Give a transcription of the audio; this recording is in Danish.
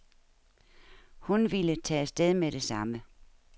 Hun ville tage af sted med det samme.